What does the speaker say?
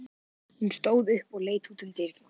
Hún stóð upp og leit út um dyrnar.